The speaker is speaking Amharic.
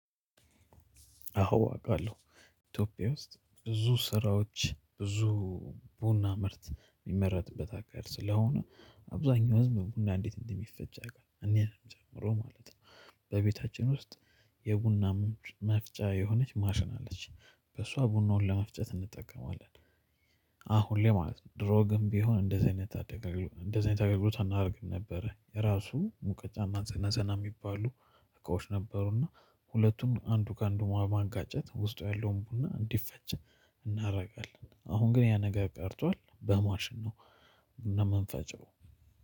አዎ አቃለሁ ኢትዮጵያ ውስጥ ብዙ ስራዎች ብዙ ቡና ምርት የሚመረትበት ሀገር ስለሆነ አብዛኛው ህዝብ ቡና እንዴት እንደሚፈጭ ያውቃለሁ እኔ ጨምሮ ማለት ነው። በቤታችን ውስጥ የቡና መፍጫት የሆነች ማሽን አለች በሷ ቡናውን ለመፍጨት እንጠቀማለን። አሁን ላይ ማለት ነው ድሮ ግን ቢሆን እንደዚህ አይነት እንደዚህ አይነት አገልግሎት አናደርግም ነበረ። የራሱ ሙቀጫ እና ዘነዘና የሚባሉ እቃዎች ነበሩ እና ሁለቱም አንዱ ከአንዱ በማጋጨት ውስጡ ያለውን ቡና እንዲፈጭ እናደርጋለን። አሁን ግን ያ ነገ ቀርቷል በማሽን ነው። የምንፈጭው